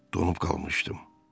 Donub qalmışdım.